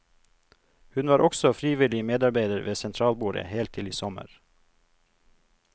Hun var også frivillig medarbeider ved sentralbordet helt til i sommer.